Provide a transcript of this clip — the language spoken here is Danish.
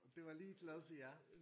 Det var lige lavet til jer